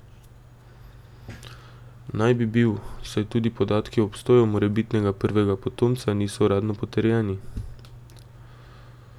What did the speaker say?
Naj bi bil, saj tudi podatki o obstoju morebitnega prvega potomca niso uradno potrjeni.